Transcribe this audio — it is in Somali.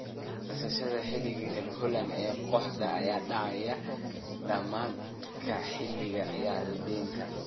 Qandaraaska xiddiga reer Holland ee kooxda ayaa dhacaya dhamaadka xilli ciyaareedkan.